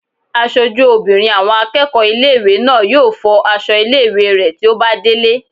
Aṣojú obìnrin àwọn akẹ́kọ̀ọ́ ilé-ìwé náà yóò fọ aṣọ ilé-ìwé rẹ̀ tí ó bá délé